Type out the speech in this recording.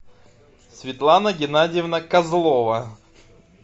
светлана геннадьевна козлова